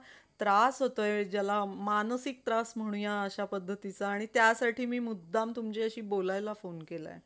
त्रास होतोय ज्याला मानसिक त्रास म्हणुया अशा पद्धतींचा आणि त्यासाठी मी मुद्धाम तुमच्याशी बोलायला phone केलाय.